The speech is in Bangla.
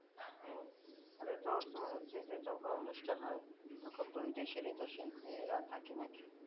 ও তাহলে তো তোমার হচ্ছে যে যখন অনুষ্ঠান হয় তখন দুই দেশেরই তো শিল্পীরা থাকে নাকি